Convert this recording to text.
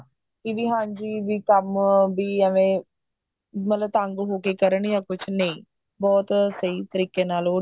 ਕਿ ਵੀ ਹਾਂਜੀ ਵੀ ਕੰਮ ਵੀ ਐਵੇ ਮਤਲਬ ਤੰਗ ਹੋ ਕੇ ਕਰਨ ਜਾਂ ਕੁੱਝ ਨਹੀਂ ਬਹੁਤ ਸਹੀ ਤਰੀਕੇ ਨਾਲ ਉਹਦੀ